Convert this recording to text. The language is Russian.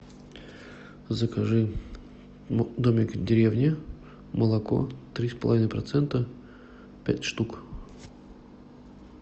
закажи домик в деревне молоко три с половиной процента пять штук